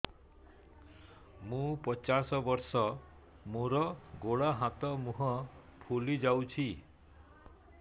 ମୁ ପଚାଶ ବର୍ଷ ମୋର ଗୋଡ ହାତ ମୁହଁ ଫୁଲି ଯାଉଛି